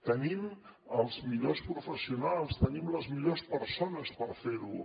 tenim els millors professionals tenim les millors persones per fer ho